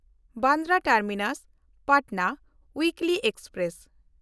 Bandra ᱴᱟᱨᱢᱤᱱᱟᱥ–ᱯᱟᱴᱱᱟ ᱩᱭᱤᱠᱞᱤ express